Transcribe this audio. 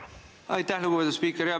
Aitäh, lugupeetud spiiker!